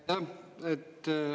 Aitäh!